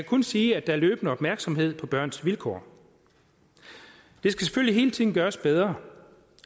kun sige at der er løbende opmærksomhed på børns vilkår det skal selvfølgelig hele tiden gøres bedre